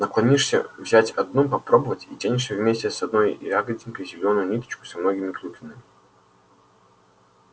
наклонишься взять одну попробовать и тянешь вместе с одной ягодинкой зелёную ниточку со многими клюквинами